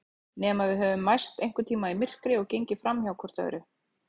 Nema við höfum mæst einhvern tíma í myrkri og gengið framhjá hvort öðru.